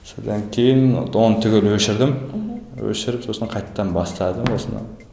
содан кейін оны түгел өшірдім мхм өшіріп сосын қайтадан бастадым осыны